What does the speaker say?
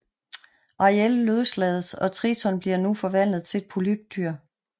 Ariel løslades og Triton bliver nu forvandlet til et polypdyr